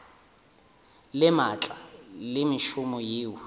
le maatla le mešomo yeo